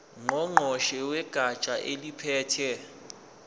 ngqongqoshe wegatsha eliphethe